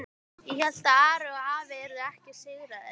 Ég hélt að Ari og afi yrðu ekki sigraðir.